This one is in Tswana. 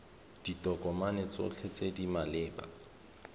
ditokomane tsotlhe tse di maleba